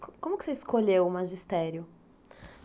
Como que você escolheu o magistério?